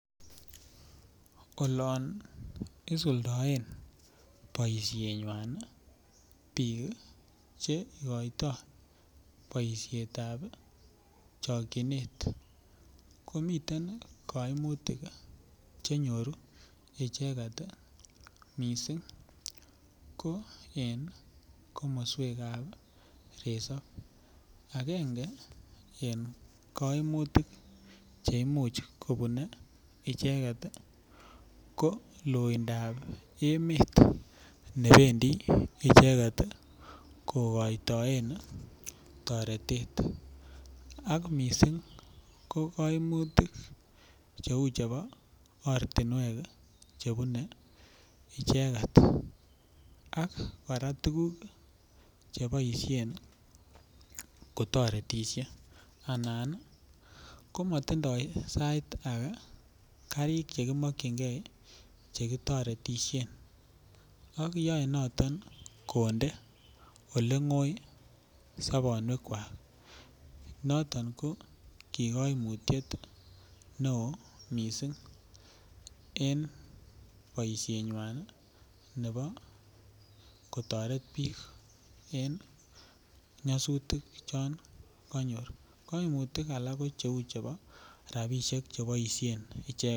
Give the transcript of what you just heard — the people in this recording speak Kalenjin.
Olon isuldoen boisienywan bik ii Che igoitoi boisiet ab chokyinet ko miten koimutik Che nyoru icheget ii mising ko en komoswek ab resop agenge en kaimutik Che Imuch kobune icheget ko loindap emet ne bendi icheget kokoitoen toretet alak ko kaimutik cheu chebo ortinwek chebune icheget ak kora tuguk Che boisien kotoretisie anan sait age ko matindoi karik Che kiamakyinige Che kotoretisien ak yae noton konde Ole ngoi sobonwek noton ki kaimutyet neo mising en boisienywa nebo kotoret bik en nyosutik chon konyor koimutyet age ko cheu chebo rabisiek Che boisien